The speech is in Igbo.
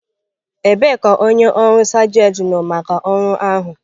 Ebee ka onye ọrụ sergent nọ maka ọrụ ahụ?